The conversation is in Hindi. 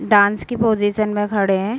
डांस के पज़िशन मे खड़े है।